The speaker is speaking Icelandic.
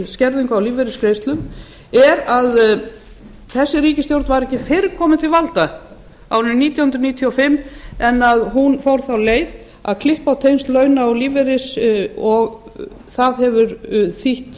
tekjuskerðing á lífeyrisgreiðslum er að þessi ríkisstjórn var ekki fyrr komin til valda á árinu nítján hundruð níutíu og fimm en að hún fór þá leið að klippa á tengsl launa og lífeyris það hefur þýtt